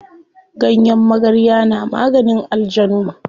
Ganyen magarya na maganin aljanu.